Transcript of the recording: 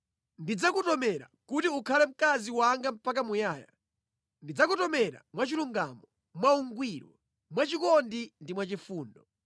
Ndidzakutomera kuti ukhale mkazi wanga mpaka muyaya; ndidzakutomera mwachilungamo, mwaungwiro, mwachikondi ndi mwachifundo.